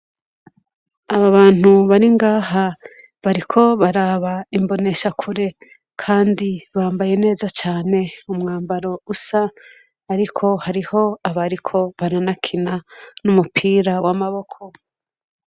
Aba bantu baringaha bariko baraba imbonesha kure, kandi bambaye neza cane umwambaro usa, ariko hariho abariko baranakina n'umupira w'amaboko.